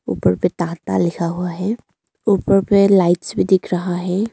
ऊपर पे टाटा लिखा हुआ है ऊपर पे लाइट्स भी दिख रहा है।